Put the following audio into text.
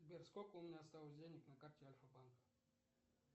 сбер сколько у меня осталось денег на карте альфа банка